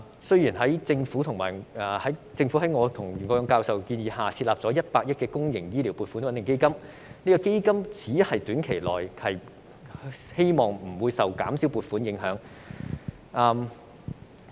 雖然政府在我和袁國勇教授建議下，設立了100億元公營醫療撥款穩定基金，但基金只能夠令醫療服務在短期內不受減少撥款影響。